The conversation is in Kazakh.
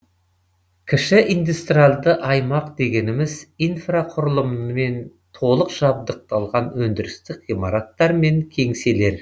кіші индустриалды аймақ дегеніміз инфрақұрылыммен толық жабдықталған өндірістік ғимараттар мен кеңселер